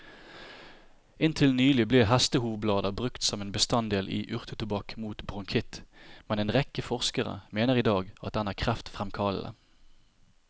Inntil nylig ble hestehovblader brukt som en bestanddel i urtetobakk mot bronkitt, men en rekke forskere mener i dag at den er kreftfremkallende.